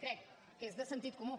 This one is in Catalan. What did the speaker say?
crec que és de sentit comú